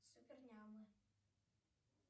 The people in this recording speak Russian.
супер нямы